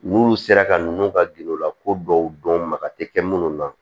N'olu sera ka ninnu ka gindo la ko dɔw dɔn maka tɛ kɛ minnu na